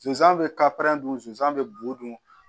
Sonsan bɛ ka dunsan bɛ bo dun